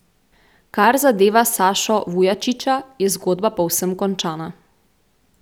Kar zadeva Sašo Vujačiča, je zgodba povsem končana.